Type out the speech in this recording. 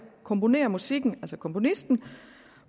komponerer musikken altså komponisten